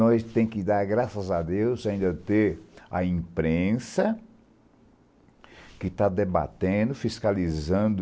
Nós temos que dar graças a Deus ainda ter a imprensa que está debatendo, fiscalizando